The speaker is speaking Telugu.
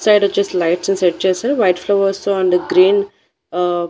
ఇట్ సైడ్ వచ్చేసి లైట్స్ సెట్ చేసి వైట్ ఫ్లవర్స్ తో అండ్ గ్రీన్ ఆ--